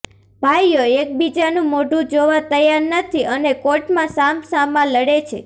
ભાઈઓ એકબીજાનું મોઢું જોવા તૈયાર નથી અને કોર્ટમાં સામસામા લડે છે